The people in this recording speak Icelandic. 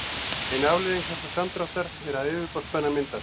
ein afleiðing þessa samdráttar er að yfirborðsspenna myndast